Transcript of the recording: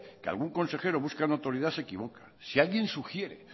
que algún consejero busca notoridad se equivoca si alguien sugiere